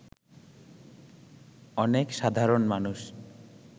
অনেক সাধারণ মানুষ